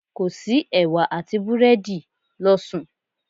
Kò sí ẹ̀wà àti búrẹ́dì, lọ sùn.